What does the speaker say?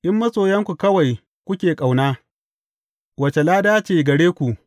In masoyarku kawai kuke ƙauna, wace lada ce gare ku?